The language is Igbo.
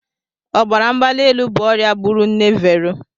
Ọbara mgbali elu bụ ọrịa gburu nne Vero.